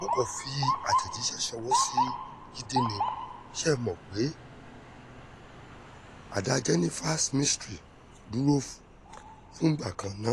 o kàn fi àtẹ̀jíṣẹ́ ṣọwọ́ sí jíde nì ṣe é mọ̀ pé adá jenifas mystery dúró fúngbà kan ná